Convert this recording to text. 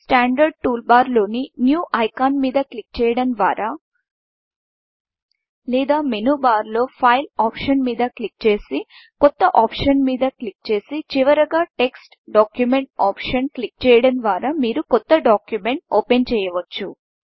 standard టూల్బార్లోని new Iconన్యూ icon మీద క్లిక్ చేయడం ద్వారా లేదా మెనూ బార్లో Fileఫైల్ ఆప్షన్ మీద క్లిక్ చేసి కొత్త ఆప్షన్ మీద క్లిక్ చేసి చివరగా టెక్స్ట్ Documentటెక్ట్స్ డాక్యుమెంట్ ఆప్షన్ క్లిక్ చేయడం ద్వారా మీరు కొత్త డాక్యుమెంట్ ఓపెన్చేయవచ్చు